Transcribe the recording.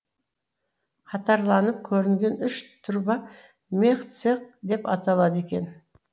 қатарланып көрінген үш турба мехцех деп аталады екен